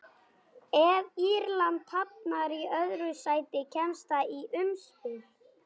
Ef Írland hafnar í öðru sæti kemst það í umspil.